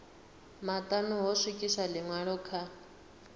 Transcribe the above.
maṱanu ho swikiswa ḽiṅwalo kha